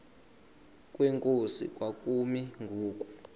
kwenkosi kwakumi ngoku